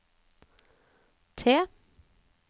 T